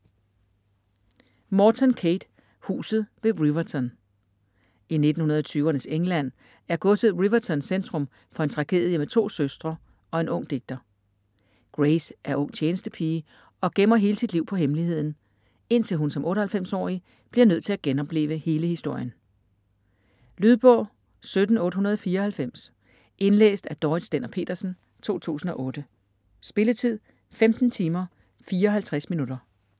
Morton, Kate: Huset ved Riverton I 1920'ernes England er godset Riverton centrum for en tragedie med to søstre og en ung digter. Grace er ung tjenestepige og gemmer hele sit liv på hemmeligheden - indtil hun som 98-årig bliver nødt til at genopleve hele historien. Lydbog 17894 Indlæst af Dorrit Stender-Pedersen, 2008. Spilletid: 15 timer, 54 minutter.